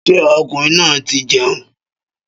Ṣé ọkùnrin náà ti jẹun?